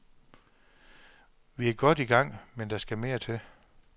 Vi er godt i gang, men der skal mere til.